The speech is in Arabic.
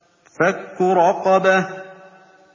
فَكُّ رَقَبَةٍ